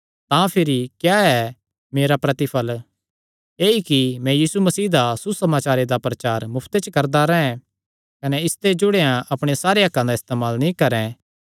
तां भिरी क्या ऐ मेरा प्रतिफल़ ऐई कि मैं यीशु मसीह दा सुसमाचारे दा प्रचार मुफ्ते च करदा रैंह् कने इसते जुड़ेयां अपणे सारे हक्कां दा इस्तेमाल नीं करैं